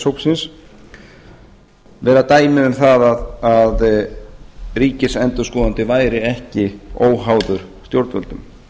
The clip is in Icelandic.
hópsins vera dæmi um það að ríkisendurskoðandi væri ekki óháður stjórnvöldum